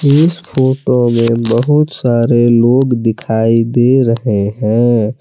इस फोटो में बहुत सारे लोग दिखाई दे रहे हैं।